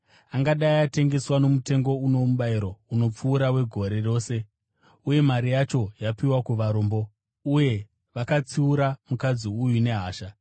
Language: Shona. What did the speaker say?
Angadai atengeswa nomutengo uno mubayiro unopfuura wegore rose, uye mari yacho yapiwa kuvarombo.” Uye vakatsiura mukadzi uyu nehasha.